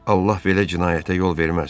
Allah belə cinayətə yol verməz.